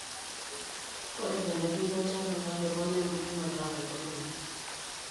ore tenepiki olchala naa keponaa ebulunoto o nkaitubulu